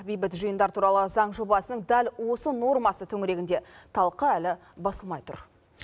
бейбіт жиындар туралы заң жобасының дәл осы нормасы төңірегінде талқы әлі басылмай тұр